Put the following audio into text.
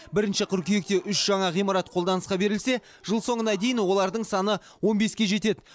бірінші қыркүйекте үш жаңа ғимарат қолданысқа берілсе жыл соңына дейін олардың саны он беске жетеді